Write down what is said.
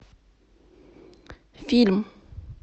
фильм